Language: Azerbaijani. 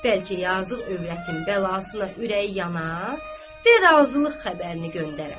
Bəlkə yazıq övrətin bəlasına ürəyi yana, və razılıq xəbərini göndərə.